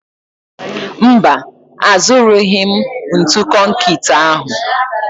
Mba, azụrụghị m ntu konkịtị ahụ